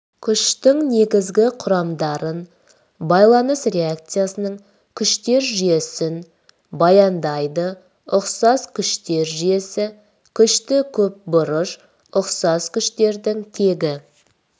күштің негізгі құрамдарын байланыс реакциясының күштер жүйесін баяндайды ұқсас күштер жүйесі күшті көпбұрыш ұқсас күштердің тегі